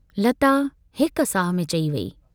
लता हिक साह में चई वेई।